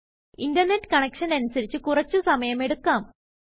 internet കണക്ഷനനുസരിച്ച് കുറച്ച് സമയം എടുക്കാം